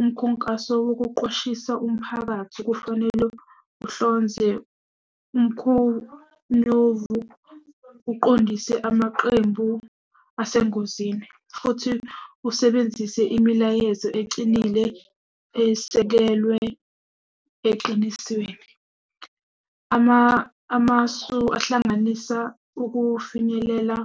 Umkhunkaso wokuqwashisa umphakathi kufanele uhlonze umkhonyovu, uqondise amaqembu asengozini futhi usebenzise imilayezo ecinile esekelwe eqinisweni. Amasu ahlanganisa ukufinyelela